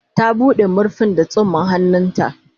Ta buɗe. marfin da tsumman hannu ta